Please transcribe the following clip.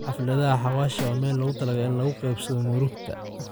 Xafladha xawasha wa meel lokutalagale in lakukebsado murugta.